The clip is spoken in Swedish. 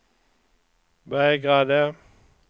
vägrade